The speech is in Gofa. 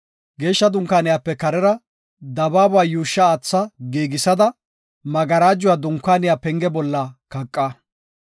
Geeshsha Dunkaaniyape karera dabaaba yuushsha aatha giigisada, magarajuwa Dunkaaniya penge bolla kaqa.